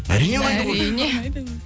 әрине ұнайды ғой